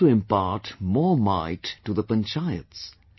How to impart more might to the Panchayats